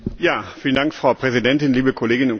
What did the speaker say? Frau Präsidentin, liebe Kolleginnen und Kollegen!